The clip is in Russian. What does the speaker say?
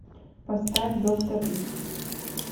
поставь доктор икс